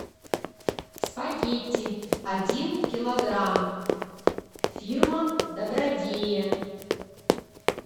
спагетти один килограмм фирма добродея